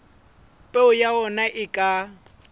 peo ya ona e ka